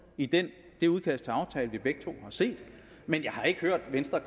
i det det udkast til aftale som vi begge to har set men jeg har ikke hørt at venstre